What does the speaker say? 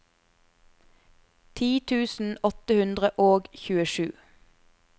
ti tusen åtte hundre og tjuesju